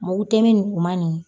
Mugu tɛmɛn nin kun man nin